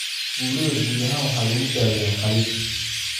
Burada guud ahaan waxaa lagu daaweeyaa qaliin.